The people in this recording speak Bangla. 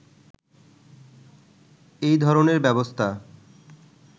এই ধরনের ব্যবস্থা